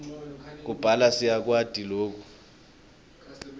kubhala siyakwati loku